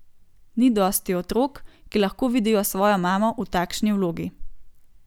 Ni dosti otrok, ki lahko vidijo svojo mamo v takšni vlogi.